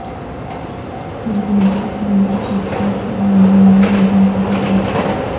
باچا خان کی شخصیت پر لندن میں مذاکرہ ہوا